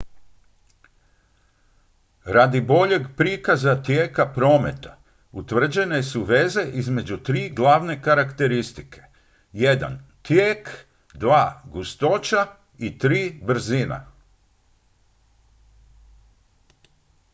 radi boljeg prikaza tijeka prometa utvrđene su veze između tri glavne karakteristike: 1 tijek 2 gustoća i 3 brzina